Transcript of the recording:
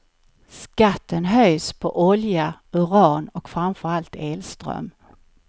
Skatten höjs på olja, uran och framför allt elström.